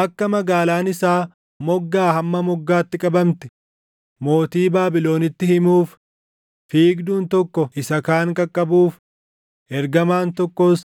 Akka magaalaan isaa moggaa hamma moggaatti qabamte mootii Baabilonitti himuuf, fiigduun tokko isa kaan qaqqabuuf, ergamaan tokkos